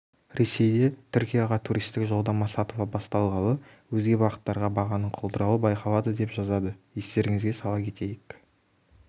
ресейде түркияға туристік жолдама сатыла басталғалы өзге бағыттарға бағаның құлдырауы байқалады деп жазады естеріңізге сала кетейік